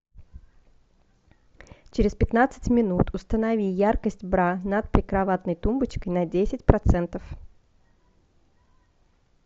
через пятнадцать минут установи яркость бра над прикроватной тумбочкой на десять процентов